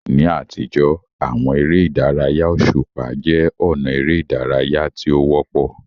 Ní àtijọ́, àwọn eré ìdárayá òṣùpá jẹ́ ọ̀nà eré ìdárayá tí ó wọ́pọ̀.